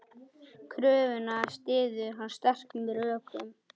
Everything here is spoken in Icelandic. Kröfuna styður hann sterkum rökum.